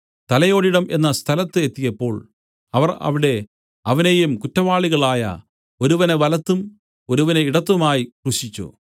തലയോടിടം എന്ന സ്ഥലത്ത് എത്തിയപ്പോൾ അവർ അവിടെ അവനെയും കുറ്റവാളികളായ ഒരുവനെ വലത്തും ഒരുവനെ ഇടത്തുമായി ക്രൂശിച്ചു